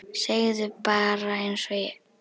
Segðu bara einsog er.